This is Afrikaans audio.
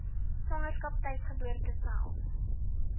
swangerskap tuisgeboorte self